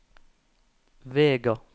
Vega